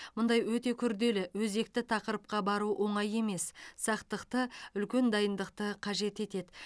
мұндай өте күрделі өзекті тақырыпқа бару оңай емес сақтықты үлкен дайындықты қажет етеді